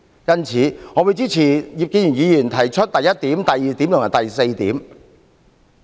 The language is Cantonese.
因此，我支持葉建源議員議案提出的第一、二及四點。